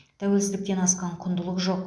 тәуелсіздіктен асқан құндылық жоқ